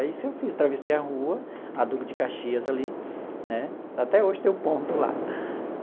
Foi isso que eu fiz, atravessei a rua, a Duque de Caxias ali né, até hoje tem o ponto lá.